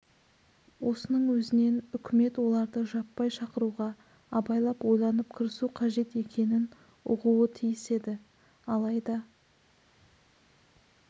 осының өзінен үкімет оларды жаппай шақыруға абайлап ойланып кірісу қажет екенін ұғуы тиіс еді алайда